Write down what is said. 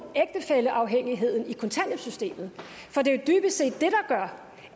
ægtefælleafhængigheden i kontanthjælpssystemet for det